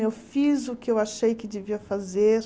Eu fiz o que eu achei que devia fazer.